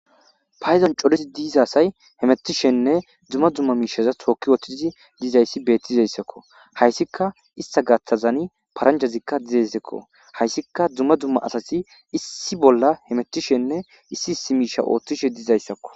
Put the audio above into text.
payzon corisi diizasay hemettishenne dumma dumma miishaza tooki ooththizi dizayssi bettizayssakko hayssika ista gaththazani paranjazikka dizezekko hayssika dumma dumma asasi issi bolla hemettishenne issi issi miisha ooththishe dizayssakko